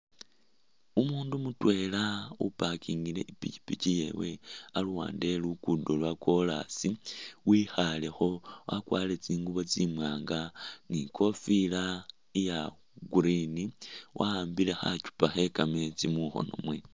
Umuundu mutweela upakingile ipikyipikyi yewe aluwande we luguudo lwa kolaasi wekhalekho wakwarire tsinguubo tsiwaanga ni kofila iya green waambile khakyupa khe kameetsi mukhono mwe.